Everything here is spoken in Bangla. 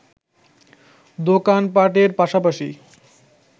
দোকান পাটের পাশাপাশি